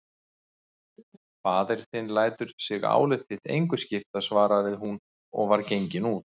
Faðir þinn lætur sig álit þitt engu skipta, svaraði hún og var gengin út.